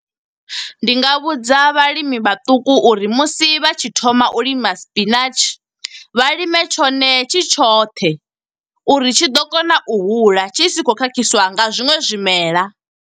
Ndi nga vhudza vhalimi vhaṱuku uri musi vha tshi thoma u lima spinatshi. Vha lime tshone tshi tshoṱhe, uri tshi ḓo kona u hula tshi si khou khakhiswa nga zwiṅwe zwimela.